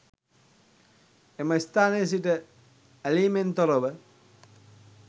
එම ස්ථානයේ සිට ඇලීමෙන් තොර ව